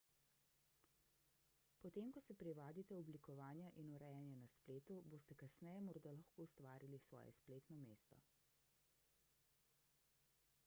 potem ko se privadite oblikovanja in urejanja na spletu boste kasneje morda lahko ustvarili svoje spletno mesto